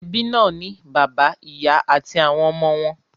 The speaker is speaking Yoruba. Ẹbí náà ń ní bàbá, ìyà àti àwọn ọmọ wọn.